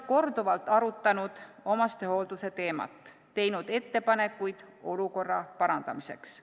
... korduvalt arutanud omastehoolduse teemat, teinud ettepanekuid olukorra parandamiseks.